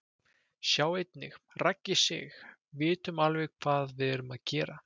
Sjá einnig: Raggi Sig: Vitum alveg hvað við erum að gera